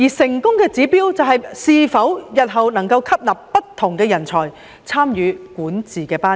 成功的指標，就是日後可否吸納不同人才參與管治班子。